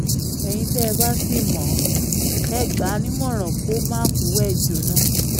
ẹ̀yin tẹ́ ẹ bá sì mọ̀ ọ́n ẹ gbà á nímọ̀ràn kó má fọwọ́ ẹ̀ jóná o